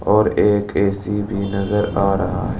और एक ए_सी भी नजर आ रहा है।